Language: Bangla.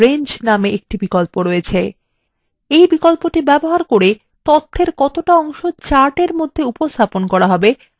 এই বিকল্পটি ব্যবহার করে তথ্যের কতটা অংশ chartএর মধ্যে উপস্থাপন করা হবে তা নির্দিষ্ট করতে পারবেন